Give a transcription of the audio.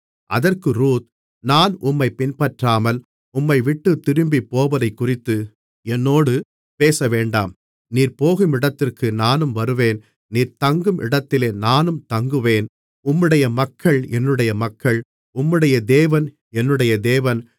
அதற்கு ரூத் நான் உம்மைப் பின்பற்றாமல் உம்மைவிட்டுத் திரும்பிப் போவதைக்குறித்து என்னோடு பேசவேண்டாம் நீர் போகும் இடத்திற்கு நானும் வருவேன் நீர் தங்கும் இடத்திலே நானும் தங்குவேன் உம்முடைய மக்கள் என்னுடைய மக்கள் உம்முடைய தேவன் என்னுடைய தேவன்